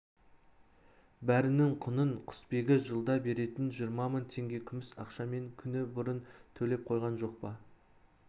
бәрінің құнын құсбегі жылда беретін жиырма мың теңге күміс ақшамен күні бұрын төлеп қойған жоқ па